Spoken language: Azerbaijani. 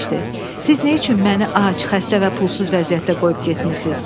Siz nə üçün məni ac, xəstə və pulsuz vəziyyətdə qoyub getmisiz?